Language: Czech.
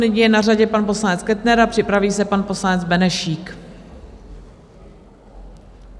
Nyní je na řadě pan poslanec Kettner a připraví se pan poslanec Benešík.